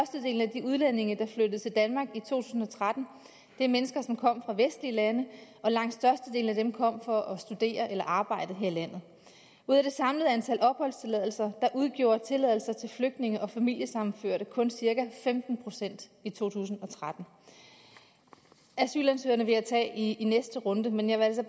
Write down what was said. de udlændinge der flyttede til danmark i to tusind og tretten er mennesker der kom fra vestlige lande og langt størstedelen af dem kom for at studere eller arbejde her i landet ud af det samlede antal opholdstilladelser udgjorde tilladelser til flygtninge og familiesammenførte kun cirka femten procent i to tusind og tretten asylansøgerne vil jeg tage i næste runde men jeg vil altså